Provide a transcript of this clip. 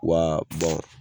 Wa